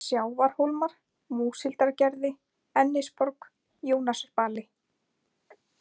Sjávarhólmar, Múshildargerði, Ennisborg, Jónasarbali